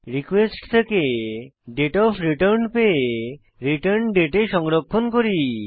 request থেকে date of return পেয়ে return date এ সংরক্ষণ করি